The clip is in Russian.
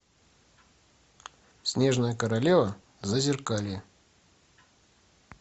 снежная королева зазеркалье